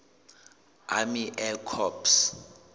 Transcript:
army air corps